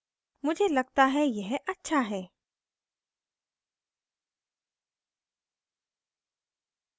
मुझे लगता है यह अच्छा है